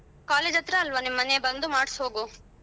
College ಹತ್ರ ಅಲ್ವಾ ನಿಮ್ ಮನೆ ಬಂದು ಮಾಡ್ಸೋಗು.